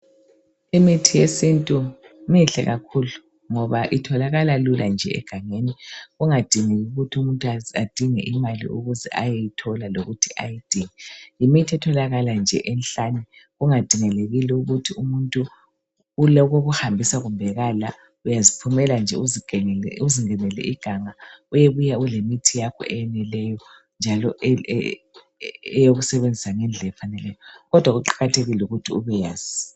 Imithi yesintu mihle kakhulu ngoba itholakala lula nje egangeni kungadingeki ukuthi umuntu adinge imali ukuze ayeyithola lokuthi ayidinge ,yimithi etholakala nje enhlane kungadingakelile ukuthi umuntu olokokuhambisa kumbe akala ,uyaziphumela nje uzingenele iganga uyebuya ulemithi yakho eyenelileyo njalo eyokusebenzia ngendlela efaneleyo kodwa kuqakathekile ukuthi ubeyezi.